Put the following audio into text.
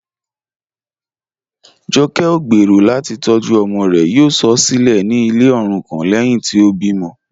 Jọ̀kẹ̀ kọ̀ gbẹ́rọ̀ láti tọ̀jú ọmọ rẹ̀, yóò sọ̀ ọ́ silẹ̀ ní ilẹ̀ orúkọ̀n lẹ́hìn tí o bí mọ̀.